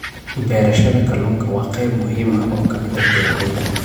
Beerashada kalluunka waa qayb muhiim ah oo ka mid ah beeralayda.